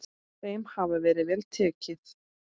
Þeim hafi verið vel tekið.